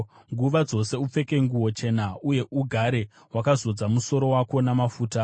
Nguva dzose upfeke nguo chena, uye ugare wakazodza musoro wako namafuta.